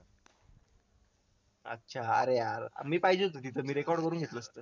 अच्छा अरे यार मी पाहिजे होतो तिथ मी record करून घेतल असता